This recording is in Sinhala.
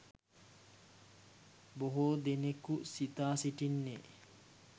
බොහෝ දෙනෙකු සිතා සිටින්නේ,